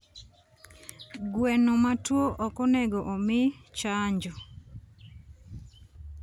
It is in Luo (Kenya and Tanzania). gweno matuo okonego omii chanjo